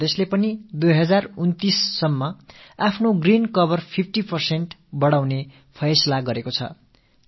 ஆந்திரப் பிரதேசத்தில் 2029க்குள்ளாக 50 சதவீத அளவுக்கு பசுமையை அதிகரிக்கும் தீர்மானம் மேற்கொள்ளப்பட்டிருக்கிறது